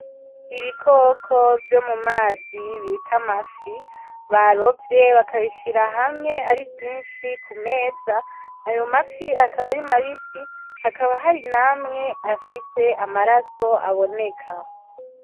Ibikoko vyo mu mazi bita amafi , barovye bakabishira hamwe ari vyinshi ku meza , ayo mafi akaba ari mabisi , hakaba hari n'amwe afise amaraso aboneka.